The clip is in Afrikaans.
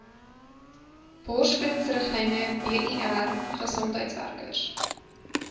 borsvoedingsriglyne bir gesondheidswerkers